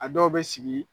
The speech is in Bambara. A dɔw bɛ sigi